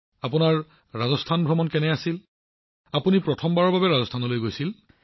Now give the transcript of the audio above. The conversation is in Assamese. প্ৰধানমন্ত্ৰীঃ আপোনাৰ ৰাজস্থান ভ্ৰমণ কেনেকুৱা হৈছিল আপুনি প্ৰথমবাৰৰ বাবে ৰাজস্থানলৈ গৈছিল নেকি